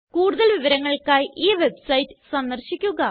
കൂടുതൽ വിവരങ്ങൾക്കായി ഈ വെബ്സൈറ്റ് സന്ദർശിക്കുക